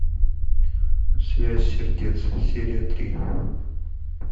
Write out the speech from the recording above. связь сердец серия три